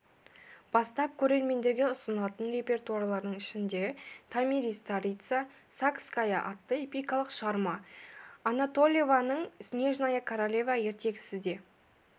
бастап көрермендерге ұсынылатын репертуарлардың ішінде томирис-царица сакская атты эпикалық шығарма анатольеваның снежная королева ертегісі де